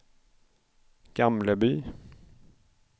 Gamleby